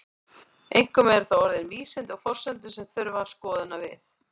Einkum eru það orðin vísindi og forsendur sem þurfa skoðunar við.